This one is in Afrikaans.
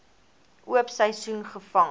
oop seisoen gevang